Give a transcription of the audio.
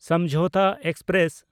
Samjhauta express